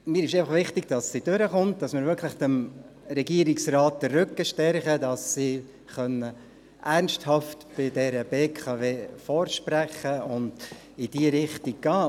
Mir ist einfach wichtig, dass sie durchkommt, dass wir dem Regierungsrat wirklich den Rücken stärken, damit er ernsthaft bei der BKW vorsprechen und in diese Richtung gehen kann.